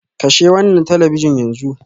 Kashe wannan talabijin yanzu.